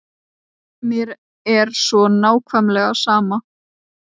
Mér er svo nákvæmlega sama.